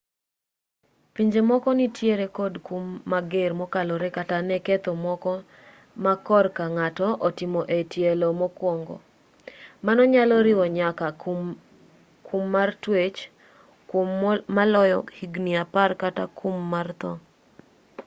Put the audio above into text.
pinje moko nitiere kod kum mager mokalore kata ne ketho moko ma korka ng'ato otimo e tielo mokwongo mano nyalo riwo nyaka kum mar twech kwom maloyo higni apar kata kum mar tho